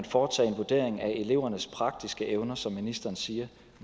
foretage en vurdering af elevernes praktiske evner som ministeren siger